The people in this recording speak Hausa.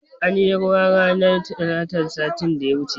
Anyi ruwa ranar talatan satin da ya wuce